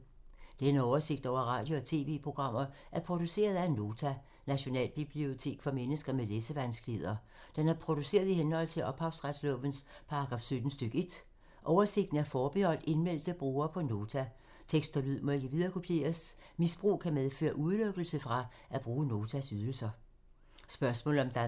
Denne oversigt over radio og TV-programmer er produceret af Nota, Nationalbibliotek for mennesker med læsevanskeligheder. Den er produceret i henhold til ophavsretslovens paragraf 17 stk. 1. Oversigten er forbeholdt indmeldte brugere på Nota. Tekst og lyd må ikke viderekopieres. Misbrug kan medføre udelukkelse fra at bruge Notas ydelser.